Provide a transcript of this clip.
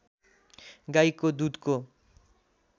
गाईको दुधको